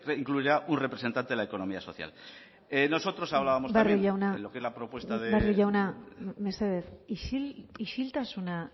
incluya un representante de la economía social nosotros hablábamos también barrio jauna mesedez isiltasuna